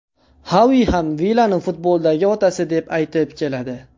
Xavi ham Vilani futboldagi otasi deb aytib keladi.